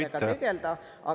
… ja nendega tegelda.